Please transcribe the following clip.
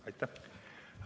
Aitäh!